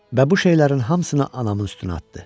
Və bu şeylərin hamısını anamın üstünə atdı.